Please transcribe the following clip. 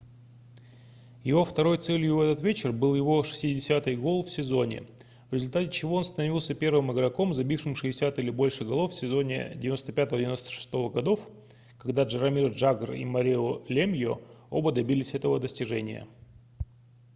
его второй целью в этот вечер был его 60-й гол в сезоне в результате чего он становился первым игроком забившим 60 или больше голов в сезоне с 1995-96 гг когда джаромир джагр и марио лемьо оба добились этого достижения